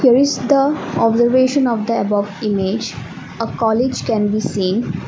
that is the observation of the above image a college can be seen.